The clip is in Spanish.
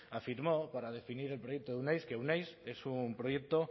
afirmó para definir el proyecto de euneiz que euneiz es un proyecto